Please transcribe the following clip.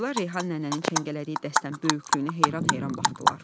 Qızlar Reyhan nənənin çəngələdiyi dəstən böyüklüyünə heyran-heyran baxdılar.